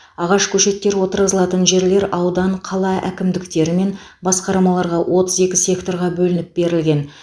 ағаш көшеттері отырғызылатын жерлер аудан қала әкімдіктері мен басқармаларға отыз екі секторға бөлініп берілген